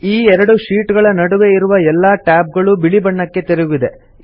ಈ ಎರಡು ಶೀಟ್ ಗಳ ನಡುವೆ ಇರುವ ಎಲ್ಲಾ ಟ್ಯಾಬ್ ಗಳೂ ಬಿಳಿ ಬಣ್ಣಕ್ಕೆ ತಿರುಗಿದೆ